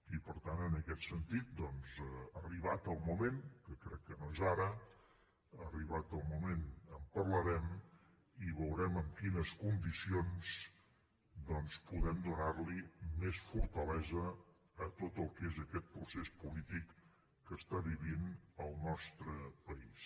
i per tant en aquest sentit arribat el moment que crec que no és ara en parlarem i veurem en quines condicions podem donar més fortalesa a tot el que és aquest procés polític que està vivint el nostre país